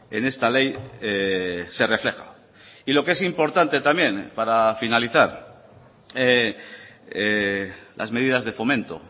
en esta ley se refleja y lo que es importante también para finalizar las medidas de fomento